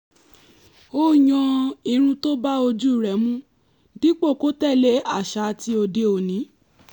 ó yan irun tó bá ojú rẹ̀ mu dípò kó tẹ̀lé àṣà ti òde-òní